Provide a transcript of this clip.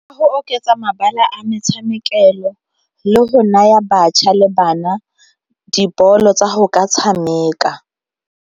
Go oketsa mabala a metshamekelo le go naya batjha le bana dipoelo tsa go ka tshameka.